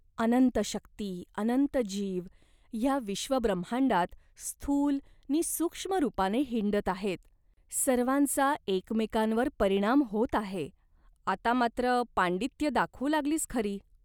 अनंत शक्ती, अनंत जीव ह्या विश्वब्रह्मांडात स्थूल नि सूक्ष्म रूपाने हिंडत आहेत. सर्वांचा एकमेकांवर परिणाम होत आहे." "आता मात्र पांडित्य दाखवू लागलीस खरी.